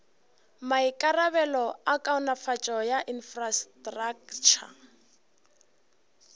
maikarabelo a kaonafatšo ya infrastraktšha